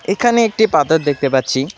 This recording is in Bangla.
এখানে একটি পাথর দেখতে পাচ্ছি।